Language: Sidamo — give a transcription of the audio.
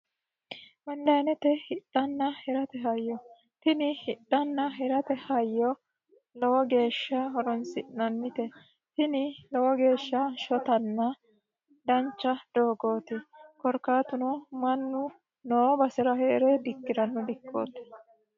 Onlinete hiranna hidhate hayyo tini hidhanna hirate hayyo lowo geeshsha horonsi'nannite tini lowo geeshsha shottanna dancha doogoti korkaatuno mannu noo basera heere dikkirano dikkoti.